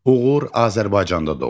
Uğur Azərbaycanda doğulub.